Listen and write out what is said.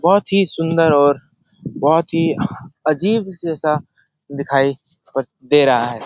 बोहोत ही सुन्दर और बोहोत ही अजीब जैसा दिखाई प दे रहा है।